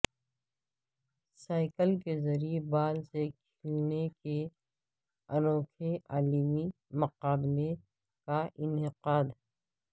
cycle کے ذریعے ball سے کھیلنے کے انوکھے عالمی مقابلے کا انعقاد